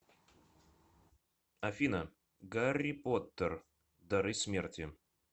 афина гарри поттер дары смерти